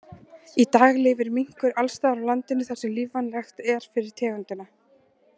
Í dag lifir minkur alls staðar á landinu þar sem lífvænlegt er fyrir tegundina.